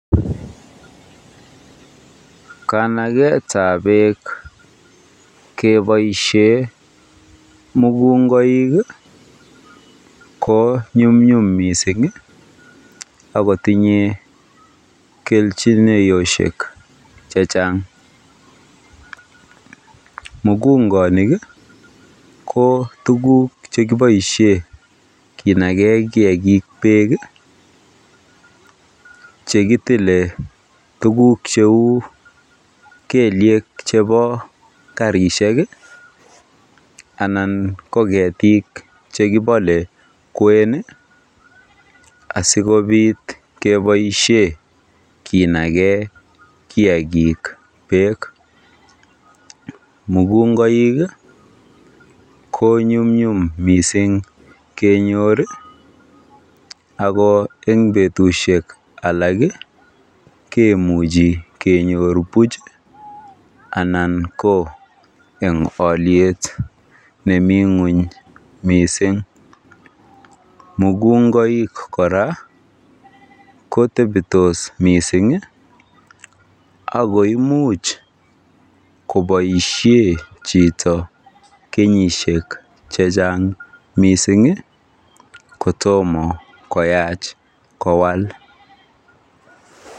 Kanaketab beek keboishen mukungoik ko nyumnyum mising ak kotinyye kelchinoshek chechang, mukungonik ko tukuk chekiboishen kinaken kiakik beek chekitile tukuk cheu keliek chebo karishek anan ko ketik chekibole kwen asikobit keboishen kinaken kiakik beek, mukungoik ko nyumnyum mising kenyor ak ko en betusheek alak kimuchi kenyor buch anan ko en oliet nemii ngweny mising, mukungoik kora kotebtos mising ak ko imuch koboishen chito kenyishek chechang mising kotomo koyach kowal.